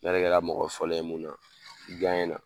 N'ale kɛra mɔgɔ fɔlɔ ye mun na i na